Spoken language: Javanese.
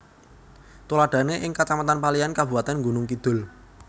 Tuladhané ing Kacamatan Paliyan Kabupatén Gunung Kidul